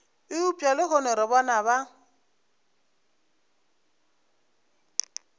eupša lehono re bona ba